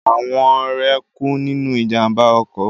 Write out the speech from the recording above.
Àwọn rẹ̀ kú nínú ìjàmbá ọkọ̀